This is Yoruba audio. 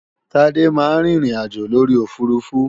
Tade máa ń rin ìrìnàjò lórí òfurufú